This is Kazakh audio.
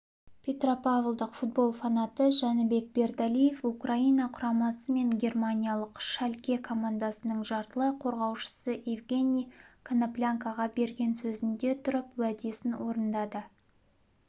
петропавлдық футбол фанаты жәнібек бердалиев украина құрамасы мен германиялық шальке командасының жартылай қорғаушысы евгений коноплянкаға берген сөзінде тұрып уәдесін орындады